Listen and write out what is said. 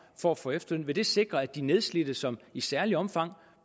for at få efterløn vil det sikre at de nedslidte som i særligt omfang